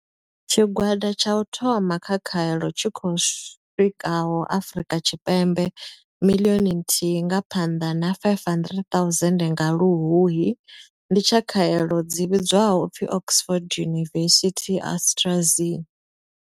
Tshigwada tsha u thoma tsha khaelo tshi khou swikaho Afrika Tshipembe miḽioni nthihi nga Phanḓa na 500 000 nga Luhuhi ndi tsha khaelo dzi vhidzwaho u pfi Oxford University-AstraZ.